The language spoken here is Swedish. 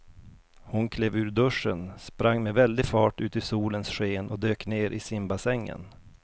Hon klev ur duschen, sprang med väldig fart ut i solens sken och dök ner i simbassängen.